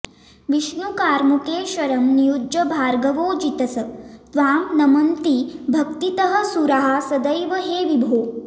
विष्णुकार्मुके शरं नियुज्य भार्गवो जितस् त्वां नमन्ति भक्तितः सुराः सदैव हे विभो